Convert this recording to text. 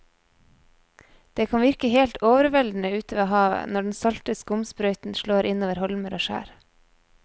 Det kan virke helt overveldende ute ved havet når den salte skumsprøyten slår innover holmer og skjær.